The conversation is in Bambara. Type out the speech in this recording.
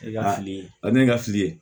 E ka fili a ne ka fili